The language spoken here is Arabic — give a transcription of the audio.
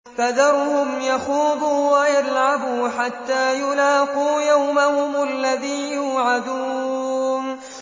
فَذَرْهُمْ يَخُوضُوا وَيَلْعَبُوا حَتَّىٰ يُلَاقُوا يَوْمَهُمُ الَّذِي يُوعَدُونَ